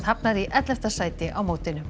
hafnar í ellefta sæti á mótinu